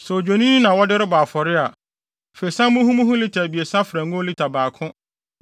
“ ‘Sɛ odwennini na wode rebɔ afɔre a, fa esiam muhumuhu lita abiɛsa fra ngo lita baako,